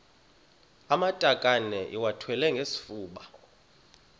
amatakane iwathwale ngesifuba